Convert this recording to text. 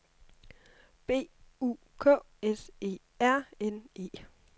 B U K S E R N E